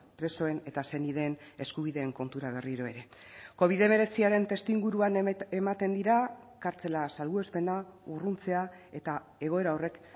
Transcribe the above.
presoen eta senideen eskubideen kontura berriro ere covid hemeretziaren testuinguruan ematen dira kartzela salbuespena urruntzea eta egoera horrek